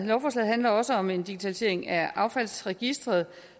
lovforslaget handler også om en digitalisering af affaldsregistret